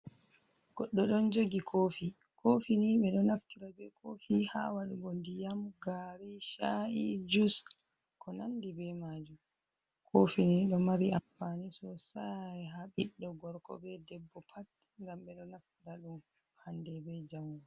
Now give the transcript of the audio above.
Goɗɗo ɗon jogi kofi, kofi ni ɓe ɗo naftira be kofi ha waɗugo diyam, gari, sha’i, jus, ko nandi be majum, kofi ni ɗo mari amfani sosai ha ɓiɗɗo gorko be debbo pat gam ɓe ɗo naftira ɗum hande be jango.